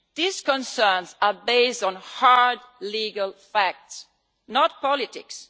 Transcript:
These concerns are based on hard legal facts, not politics.